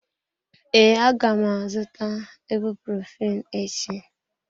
Ee, aga m azụta ibuprophen echi.